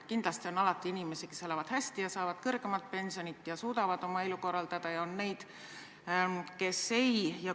Kindlasti on alati inimesi, kes elavad hästi ja saavad suuremat pensioni ja suudavad oma elu korraldada, ja on neid, kellel see nii ei ole.